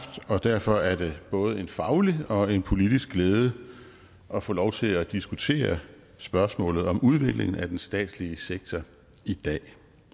og derfor er det både en faglig og en politisk glæde at få lov til at diskutere spørgsmålet om udvikling af den statslige sektor i dag